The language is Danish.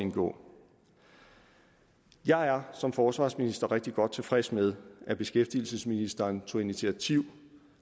indgå jeg er som forsvarsminister rigtig godt tilfreds med at beskæftigelsesministeren tog initiativ